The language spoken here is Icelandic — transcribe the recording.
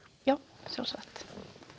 já sjálfsagt